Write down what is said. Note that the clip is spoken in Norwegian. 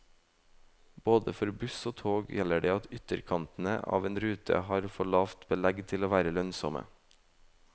Både for buss og tog gjelder det at ytterkantene av en rute har for lavt belegg til å være lønnsomme.